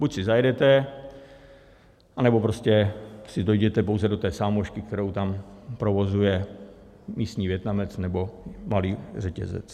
Buď si zajedete, anebo prostě si dojděte pouze do té sámošky, kterou tam provozuje místní Vietnamec nebo malý řetězec.